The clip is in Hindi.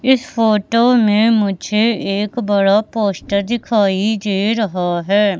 इस फोटो में मुझे एक बड़ा पोस्टर दिखाई दे रहा है।